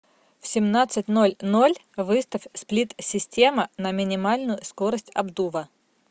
в семнадцать ноль ноль выставь сплит система на минимальную скорость обдува